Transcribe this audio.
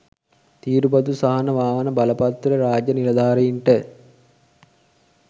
තීරු බදු සහන වාහන බලපත්‍රය රාජ්‍ය නිලධාරීන්ට